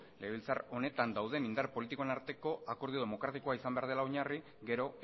legebiltzar honetan dauden indar politikoen arteko akordio demokratikoa izan behar dela oinarri gero